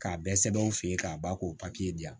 K'a bɛɛ sɛbɛn u fe yen k'a ban k'o di yan